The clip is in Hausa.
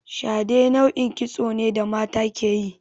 Shade nau'in kitso ne da mata ke yi.